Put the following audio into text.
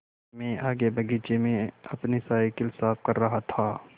मैं आगे बगीचे में अपनी साईकिल साफ़ कर रहा था